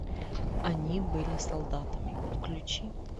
они были солдатами включи